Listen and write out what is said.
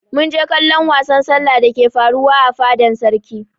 Mun je kallon wasan sallah dake faruwa a fadan sarki.